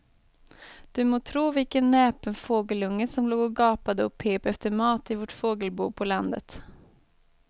Du må tro vilken näpen fågelunge som låg och gapade och pep efter mat i vårt fågelbo på landet.